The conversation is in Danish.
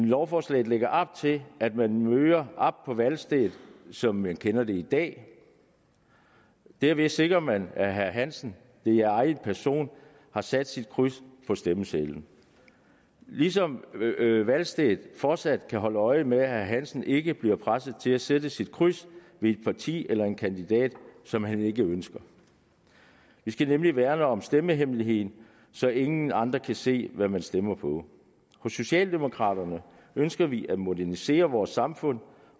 lovforslaget lægger op til at man møder op på valgstedet som man kender det i dag derved sikrer man at herre hansen i egen person har sat sit kryds på stemmesedlen ligesom valgstedet fortsat kan holde øje med at herre hansen ikke bliver presset til at sætte sit kryds ved et parti eller en kandidat som han ikke ønsker vi skal nemlig værne om stemmehemmeligheden så ingen andre kan se hvad man stemmer på hos socialdemokraterne ønsker vi at modernisere vort samfund